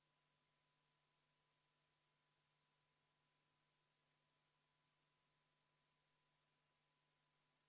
Tänase sellesama eelnõu alusel tegelikkuses juba laekub tänu sellele, et algul planeeriti hotellinduses ehk öömajapidamistes käibemaksu tõusu 9%-lt 22%-ni, nüüd on 13%, kaotatakse juba iseenesest 13% minimaalselt ju maksutulu.